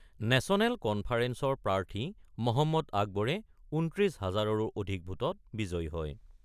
National কন্ফাৰেন্সৰ প্ৰাৰ্থী মহম্মদ আকবৰ ২৯ হাজাৰৰো অধিক ভোটত বিজয়ী হয়।